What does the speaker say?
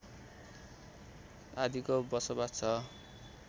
आदिको बसोवास छ